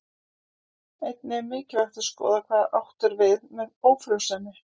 Einnig er mikilvægt að skoða hvað átt er við með ófrjósemi.